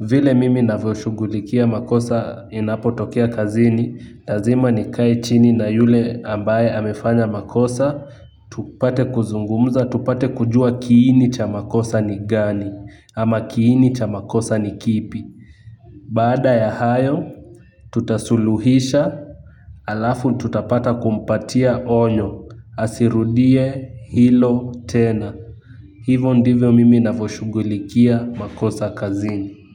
Vile mimi ninavyoshughulikia makosa inapotokea kazini lazima nikae chini na yule ambaye amefanya makosa. Tupate kuzungumza, tupate kujua kiini cha makosa ni gani. Ama kiini cha makosa ni kipi. Baada ya hayo, tutasuluhisha alafu tutapata kumpatia onyo, asirudie hilo tena. Hivo ndivyo mimi ninavyoshughulikia makosa kazini.